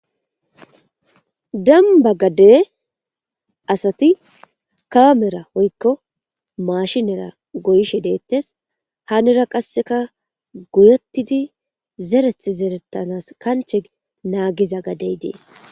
Deniba gade asati kamera woyikko mashinera gaishe detes hanira qaseka goyetidi zereti zeretanas kanche nagetiza gade deas.